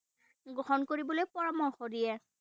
গ্ৰহণ কৰিবলৈ পৰামৰ্শ দিয়ে।